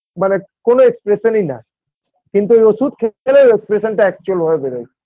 মানে কোনো expression -ই না কিন্তু ওই ওষুধ খেলে ওর expression -টা Actual -ভাবে বেরোয়